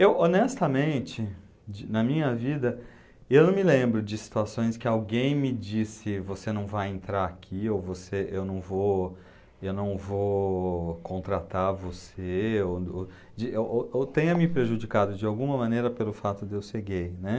Eu, honestamente, de, na minha vida, eu não me lembro de situações que alguém me disse você não vai entrar aqui, ou você, eu não vou eu não vou contratar você, ou ou de ou ou tenha me prejudicado de alguma maneira pelo fato de eu ser gay, né.